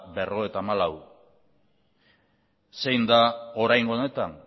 berrogeita hamalau zein da oraingo honetan